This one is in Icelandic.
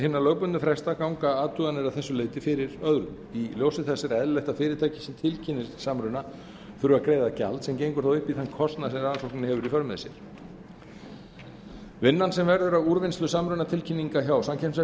hinna lögbundnu fresta ganga athuganir að þessu leyti fyrir öðrum í ljósi þess er eðlilegt að fyrirtæki sem tilkynnir samruna þurfi að greiða gjald sem gengur þá upp í þann kostnað sem rannsóknin hefur í för með sér vinnan sem verður af úrvinnslu samrunatilkynninga hjá samkeppniseftirlitinu